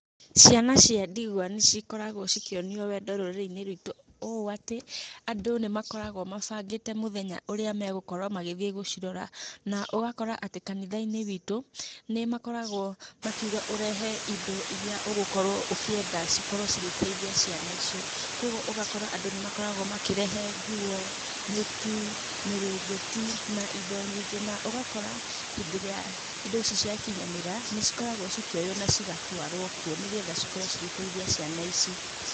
Ciana cia ndigwa nĩ cikoragwo cikĩonio wendo rũrĩrĩ-inĩ rwitũ ũũ atĩ, andũ nĩ makoragwo mabangĩte mũthenya ũrĩa megũkorwo magĩthiĩ gũcirrora. Na ũgakora atĩ kanitha-inĩ witũ, nĩ makoragwo makiuga ũrehe indo ĩrĩa ũgũkorwo ũkĩenda cikorwo cigĩteithia ciana icio. Kũguo ũgakora andũ nĩ makoragwo makĩrehe nguo, mĩtu, mĩrĩngĩti na indo nyingĩ, na ũgakora hĩndĩ ĩrĩa indo ici cia kinyanĩra nĩ cikoragwo cikĩoywo na cigatũarwo kuo nĩ getha cikorwo cigeteithia ciana ici.